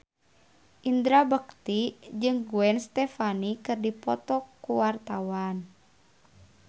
Indra Bekti jeung Gwen Stefani keur dipoto ku wartawan